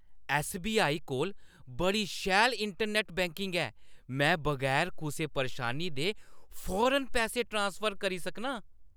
SBI. कोल बड़ी शैल इंटरनैट्ट बैंकिंग ऐ। में बगैर कुसै परेशानी दे फौरन पैसे ट्रांसफर करी सकनां।